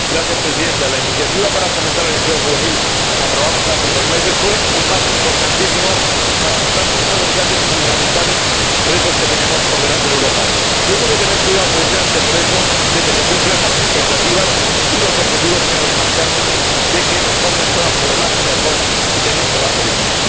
Señora Presidenta, la iniciativa para fomentar el empleo juvenil que aprobamos hace unos meses fue un paso importantísimo para afrontar uno de los grandes y fundamentales retos que tenemos por delante en Europa, y hemos de tener cuidado, precisamente por eso, de que se cumplan las expectativas y los objetivos que nos marcamos de que los jóvenes puedan formarse mejor y tener un trabajo digno.